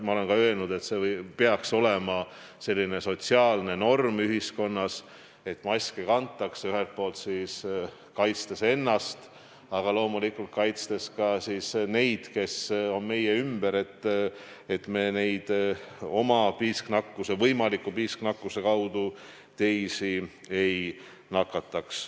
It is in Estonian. Ma olen ka öelnud, et see peaks olema selline sotsiaalne norm ühiskonnas, et maske kantakse kaitstes ennast, aga loomulikult ka kaitstes neid, kes on meie ümber, et me võimaliku piisknakkuse kaudu teisi ei nakataks.